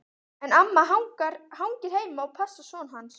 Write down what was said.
En amma hangir heima og passar son hans.